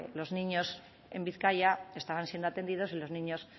los niños en bizkaia estaban siendo atendidos y los niños